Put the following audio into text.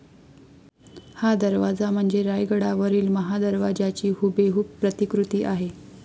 हा दरवाजा म्हणजे रायगडावरील महादरवाज्याची हुबेहूब प्रतिकृती आहे